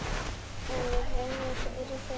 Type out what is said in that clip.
En við reynum, fyrir þig.